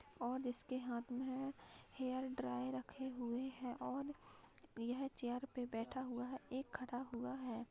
और जिसके हाथ में हेयर ड्रायर रखे हुए हैं और यह चेयर पे बैठा हुआ है एक खड़ा हुआ है।